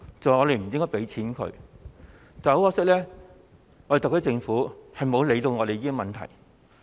我們是不應該向特區政府撥款的，因為政府沒有理會這些問題。